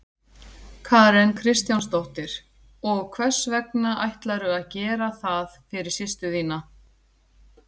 Karen Kjartansdóttir: Og hvers vegna ætlarðu að gera það fyrir systur þína?